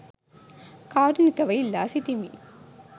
කාරුණිකව ඉල්ලා සිටිමි.